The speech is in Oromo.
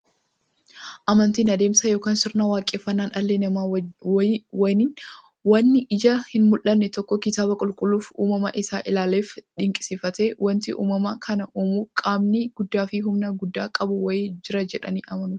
Amantiin adeemsa yookiin sirna waaqeffannaa dhalli namaa waan ijaan hinmullanne tokko kitaaba qulqulluufi uumama isaa isaa ilaaleefi dinqisiifatee, wanti uumama kana uumu qaamni guddaafi humna guddaa qabu wa'ii jira jedhanii amanuuti.